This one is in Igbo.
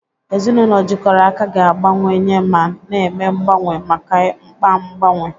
Ezinụlọ jikọrọ aka ga-agbanwewanye ma na-eme mgbanwe maka mkpa mgbanwe.